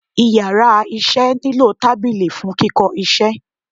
íyarà iṣẹ ni lo tábilí fún Kìkó isé